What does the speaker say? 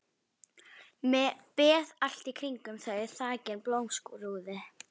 Beð allt í kringum þau þakin blómskrúði.